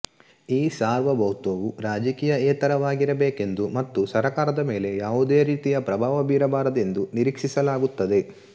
ಈ ಸಾರ್ವಭೌತ್ವವು ರಾಜಕೀಯೇತರವಾಗಿರಬೇಕೆಂದು ಮತ್ತು ಸರಕಾರದ ಮೇಲೆ ಯಾವುದೇ ರೀತಿಯ ಪ್ರಭಾವ ಬೀರಬಾರದೆಂದು ನಿರೀಕ್ಷಿಸಲಾಗುತ್ತದೆ